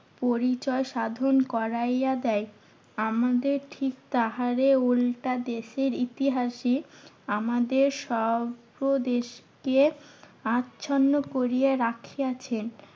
পরিচয় সাধন করাইয়া দেয়। আমাদের ঠিক তাহারে উল্টা দেশের ইতিহাসই আমাদের সব দেশকে আচ্ছন্ন করিয়া রাখিয়াছেন।